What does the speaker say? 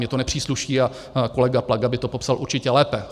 Mně to nepřísluší a kolega Plaga by to popsal určitě lépe.